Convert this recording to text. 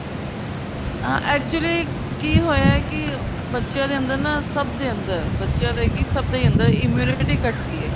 ਹਾਂ actually ਕੀ ਹੋਇਆ ਕੀ ਬੱਚਿਆਂ ਦੇ ਅੰਦਰ ਨਾ ਸਭ ਦੇ ਅੰਦਰ ਬੱਚਿਆਂ ਦਾ ਕਿ ਸਭ ਦੇ ਅੰਦਰ immunity ਘਟੀ ਏ